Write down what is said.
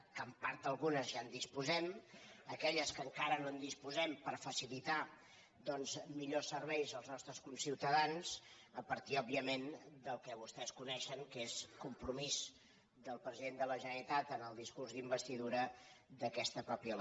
que en part d’algunes ja en disposem aquelles de les quals encara no disposem per facilitar doncs millors serveis als nostres conciutadans a par·tir òbviament del que vostès coneixen que és com·promís del president de la generalitat en el discurs d’investidura d’aquesta mateixa legislatura